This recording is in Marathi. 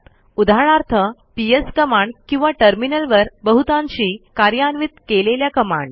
उदाहरणार्थ पीएस कमांड किंवा टर्मिनलवर बहुतांशी कार्यान्वित केलेल्या कमांड